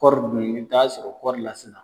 Kɔɔri dun i bɛ t'a sɔrɔ kɔɔri la sisan.